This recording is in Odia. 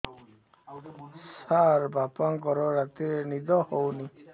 ସାର ବାପାଙ୍କର ରାତିରେ ନିଦ ହଉନି